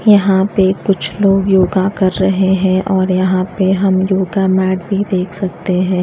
यहां पे कुछ लोग योगा कर रहे हैं और यहां पे हम योगा मैट भी देख सकते हैं।